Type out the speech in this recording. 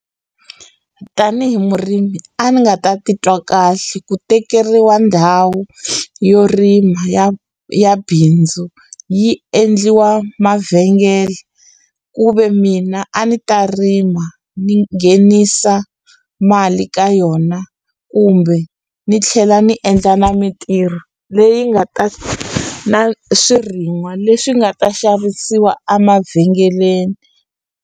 Tanihi murimi a ni nga ta titwa kahle ku tekeriwa ndhawu yo rima ya ya bindzu yi endliwa mavhengele ku ve mina a ni ta rima ni nghenisa mali ka yona kumbe ni tlhela ni endla na mintirho leyi nga ta na swirin'wa leswi nga ta xavisiwa a mavhengeleni.